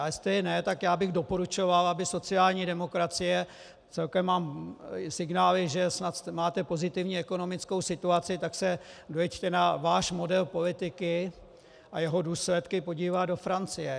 A jestli ne, tak já bych doporučoval, aby sociální demokracie, celkem mám signály, že snad máte pozitivní ekonomickou situaci, tak se dojeďte na váš model politiky a jeho důsledky podívat do Francie.